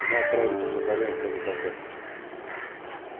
и мы отправились по направлению к этой толпе